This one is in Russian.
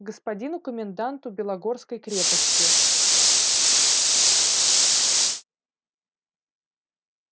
господину коменданту белогорской крепости